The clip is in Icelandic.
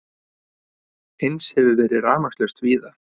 Eins hefur verið rafmagnslaust víða